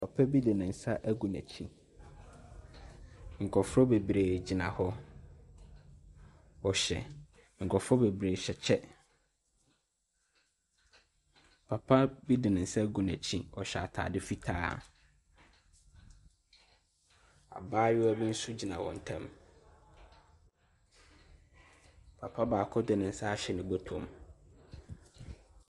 Papa bi ne nsa agu n’akyi, nkurɔfoɔ bebree gyina hɔ, wɔhyɛ nkurɔfoɔ bebree hyɛ kyɛ. Papa bi de ne nsa agu n’akyi, ɔhyɛ ataade fitaa. Abaayewa bi nso gyina wɔn ntam. Papa baako de ne nsa ahyɛ ne bɔtɔ mu.